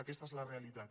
aquesta és la realitat